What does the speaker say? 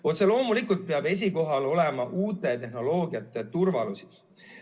Otse loomulikult peab esikohal olema uute tehnoloogiate turvalisus.